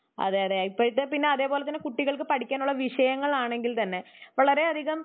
അതെയതെ ഇപ്പഴത്തെ പിന്നെ അതേപോലെ തന്നെ പഠിക്കാനുള്ള വിഷയങ്ങലാണെങ്കിൽ തന്നെ വളരെ അതികം